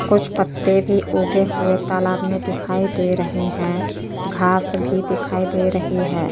कुछ पत्ते भी उगे हुए तालब मे दिखाई दे रहे हैं। घास भी दिखाई दे रही है।